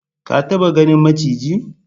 Ka taba ganin maciji?